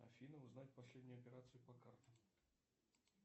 афина узнать последнюю операцию по картам